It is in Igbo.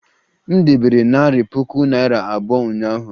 M debere narị puku naira abụọ ụnyaahụ